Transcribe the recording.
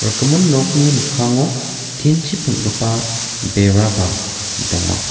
rikgimin nokni mikkango tin chi peng·gipa beraba donga.